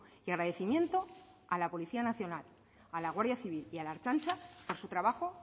y agradecimiento a la policía nacional a la guardia civil y a la ertzaintza por su trabajo